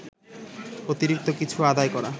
অতিরিক্ত কিছু আদায় করা